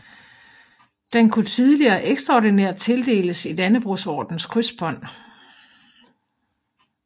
Den kunne tidligere ekstraordinært tildeles i Dannebrogordenens krydsbånd